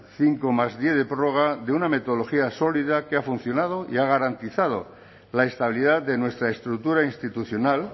cincodiez de prórroga de una metodología sólida que ha funcionado y ha garantizado la estabilidad de nuestra estructura institucional